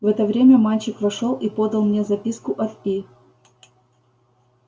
в это время мальчик вошёл и подал мне записку от и